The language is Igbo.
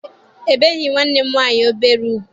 E beghị nwanne m nwaanyị obere ugwu.